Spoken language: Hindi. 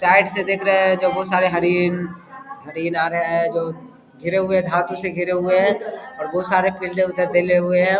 साइड से देख रहे है बहुत सारे हिरन हिरन आ रहा है घिरे हुए हैं धातु से घिरे हुए हैं. बहुत सारे फील्डे उधर देले हुए हैं ।